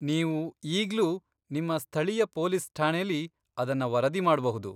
ನೀವು ಈಗ್ಲೂ ನಿಮ್ಮ ಸ್ಥಳೀಯ ಪೊಲೀಸ್ ಠಾಣೆಲಿ ಅದನ್ನ ವರದಿ ಮಾಡ್ಬಹುದು.